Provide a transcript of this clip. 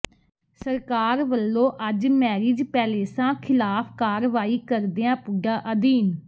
ਸਰਕਾਰ ਵੱਲੋਂ ਅੱਜ ਮੈਰਿਜ ਪੈਲੇਸਾਂ ਖ਼ਿਲਾਫ਼ ਕਾਰਵਾਈ ਕਰਦਿਆਂ ਪੁੱਡਾ ਅਧੀਨ